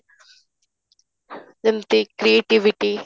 ଯେମିତି creativity